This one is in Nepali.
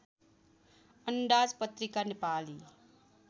अन्दाज पत्रिका नेपाली